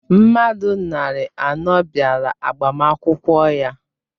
Mmadụ narị anọ bịara agbamakwụkwọ ya.